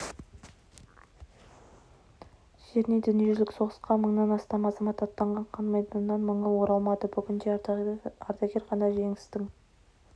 жерінен дүниежүзілік соғысқа мыңнан астам азамат аттанған қан майданнан мыңы оралмады бүгінде ардагер ғана жеңістің